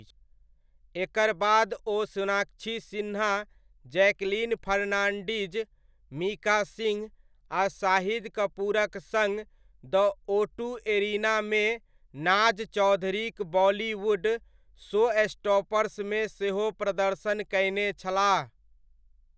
एकर बाद ओ Sonakshi Sinha, Jacqueline Fernandez, Mika Singh आ शाहिद कपूरक सङ्ग द ओटू एरिनामे नाज चौधरीक बॉलीवुड शोस्टॉपर्समे सेहो प्रदर्शन कयने छलाह।